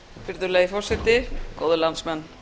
virðulegi forseti góðir landsmenn